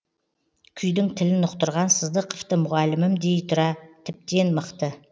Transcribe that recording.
күйдің тілін ұқтырған сыздықовты мұғалімім дей тұра тіптен мықты